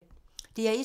DR1